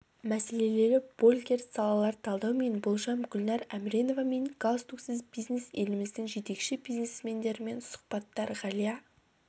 мәселелері больгерт салалар талдау мен болжам гүлнар әмреновамен галстуксіз бизнес еліміздің жетекші бизнесмендерімен сұхбаттар ғалия